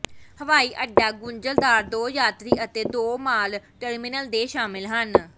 ਹਵਾਈਅੱਡਾ ਗੁੰਝਲਦਾਰ ਦੋ ਯਾਤਰੀ ਅਤੇ ਦੋ ਮਾਲ ਟਰਮੀਨਲ ਦੇ ਸ਼ਾਮਲ ਹਨ